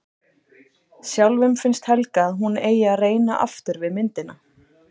Sjálfum finnst Helga að hún eigi að reyna aftur við myndina.